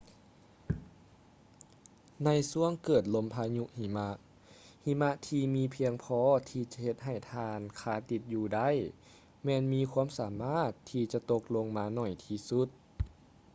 ໃນຊ່ວງເກີດລົມພາຍຸຫິມະ ຫິມະທີ່ມີພຽງພໍທີ່ຈະເຮັດໃຫ້ທ່ານຄາຕິດຢູ່ໄດ້ ແມ່ນມີຄວາມສາມາດທີ່ຈະຕົກລົງມາໜ້ອຍທີ່ສຸດ